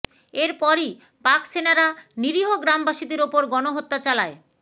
এর পরই পাকসেনারা নিরীহ গ্রামবাসীদের ওপর গণহত্যা চালায়